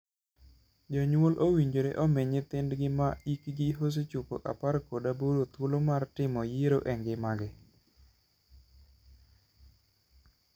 Jonyuol owinjore omii nyithindgi ma hikgi osechopo apar kod aboro thuolo mar timo yiero e ngimagi.